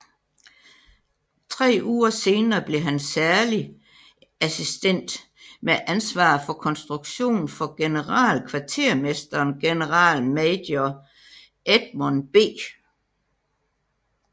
Tre uger senere blev han særlig assistent med ansvar for konstruktion for generalkvartermesteren generalmajor Edmund B